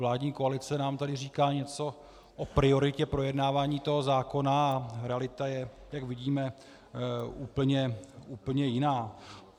Vládní koalice nám tady říká něco o prioritě projednávání toho zákona a realita je, jak vidíme, úplně jiná.